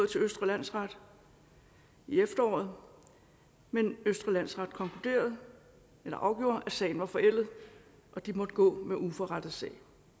til østre landsret i efteråret men østre landsret afgjorde at sagen var forældet og de måtte gå med uforrettet sag